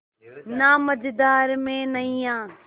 ना मझधार में नैय्या